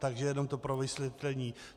Takže jenom to pro vysvětlení.